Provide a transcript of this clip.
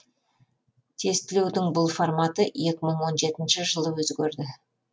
тестілеудің бұл форматы екі мың он жетінші жылы өзгерді